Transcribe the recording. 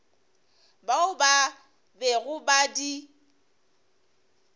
bao ba bego ba di